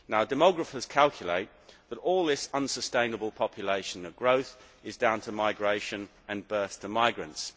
Demographers calculate that all this unsustainable population growth is down to migration and births to migrants.